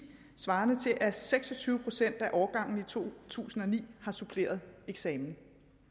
svarende til at seks og tyve procent af årgang to tusind og ni har suppleret eksamen